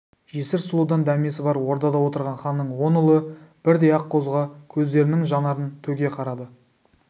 жесір сұлудан дәмесі бар ордада отырған ханның он ұлы бірдей аққозыға көздерінің жанарын төге қарады